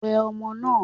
Wẹ ọmọ náà!